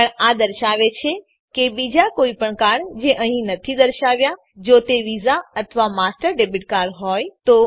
પણ આ દર્શાવે છે કે બીજા કોઈપણ કાર્ડ જે અહીં નથી દર્શાવાયા જો તે વિઝા અથવા માસ્ટર ડેબીટ કાર્ડ હોય તો